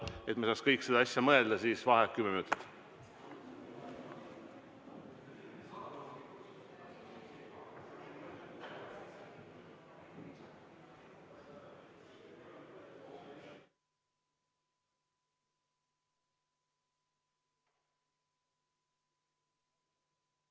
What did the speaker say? Et me saaks kõik selle asja üle mõelda, siis vaheaeg kümme minutit.